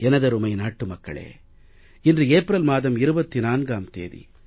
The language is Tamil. எனதருமை நாட்டு மக்களே இன்று ஏப்ரல் மாதம் 24ம் தேதி